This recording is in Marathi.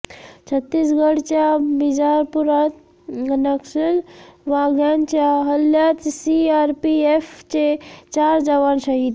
छत्तीसगडच्या बिजापुरात नक्षलवाद्यांच्या हल्ल्यात सीआरपीएफचे चार जवान शहीद